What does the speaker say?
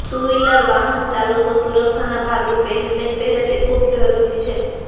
two wheeler વાહન ચાલકો સુરક્ષાના ભાગરૃપે હેલ્મેટ પહેરે તે ખૂબ જરૃરી છે